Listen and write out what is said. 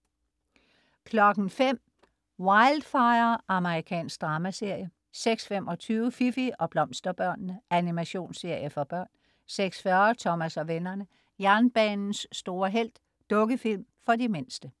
05.00 Wildfire. Amerikansk dramaserie 06.25 Fifi og Blomsterbørnene. Animationsserie for børn 06.40 Thomas og vennerne: Jernbanens store helt. Dukkefilm for de mindste